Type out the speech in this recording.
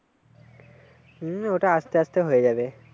হম ওটা আসতে আসতে হয়ে যাবে।